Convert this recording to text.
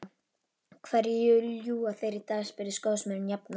Hverju ljúga þeir í dag? spurði skósmiðurinn jafnan.